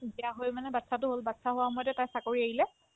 বিয়া হৈ মানে batches তো হ'ল batches হোৱা সময়তে তাই চাকৰি এৰিলে